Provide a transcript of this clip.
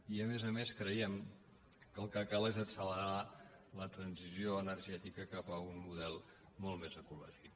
i a més a més creiem que el que cal és accelerar la transició energètica cap a un model molt més ecològic